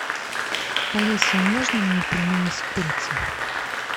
алиса можно мне пельмени с курицей